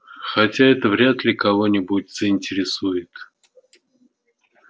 хотя это вряд ли кого-нибудь заинтересует